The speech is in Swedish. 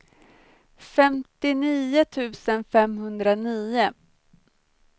femtionio tusen femhundranio